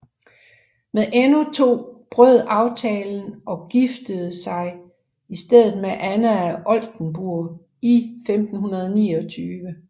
Men Enno II brød aftalen og giftede sig i stedet med Anna af Oldenburg i 1529